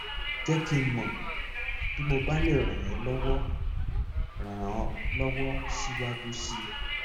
jẹ kí n mọ bí mo bá lè ràn ọ lọwọ ràn ọ lọwọ síwájú sí i